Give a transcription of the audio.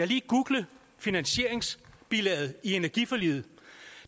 lige googlet finansieringsbilaget i energiforliget